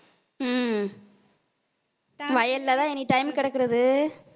உம் வயல்லதான் anytime கிடக்கிறது.